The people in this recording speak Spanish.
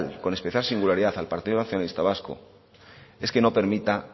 con especial singularidad al partido nacionalista vasco es que no permita